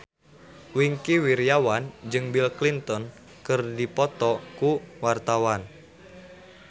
Wingky Wiryawan jeung Bill Clinton keur dipoto ku wartawan